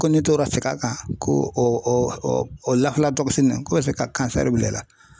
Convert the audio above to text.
Ko ne tora ka segin a kan ko o o o k'o bɛ se ka bila i la.